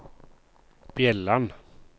Bjelland